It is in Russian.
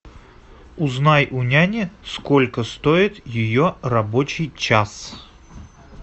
узнай у няни сколько стоит ее рабочий час